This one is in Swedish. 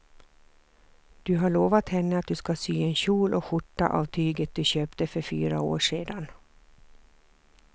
Du har lovat henne att du ska sy en kjol och skjorta av tyget du köpte för fyra år sedan.